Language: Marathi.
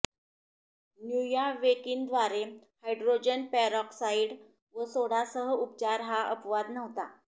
न्यूयावेकिनद्वारे हायड्रोजन पेरॉक्साइड व सोडासह उपचार हा अपवाद नव्हता